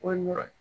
O ye nɔ ye